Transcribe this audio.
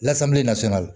Lasapeli nasɔnyali